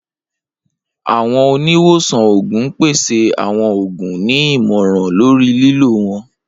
Awọn oniwosan oogun n pese awọn oogun, ni imọran lori lilo wọn.